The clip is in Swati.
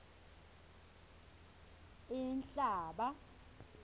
inhlaba